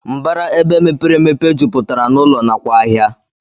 Mbara ebe mepere emepe juputara na ụlọ nakwa ahia.